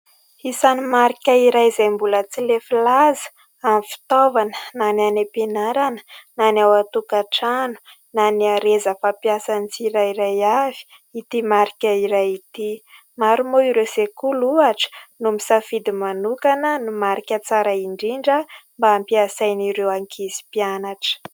Isan'ny marika iray, izay mbola tsy lefy laza amin'ny fitaovana na ny any am-pianarana na ny ao an-tokantrano na ny hareza fampiasan' ny tsirairay avy : ity marika iray ity. Maro moa ireo sekoly ohatra : no misafidy manokana ny marika tsara indrindra, mba hampiasain' ireo ankizy mpianatra.